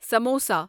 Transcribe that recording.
samosa